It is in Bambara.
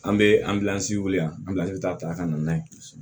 An bɛ anbilansi weele yan anbilansi taa ka na n'a ye